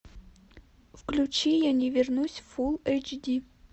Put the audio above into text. включи я не вернусь фул эйч ди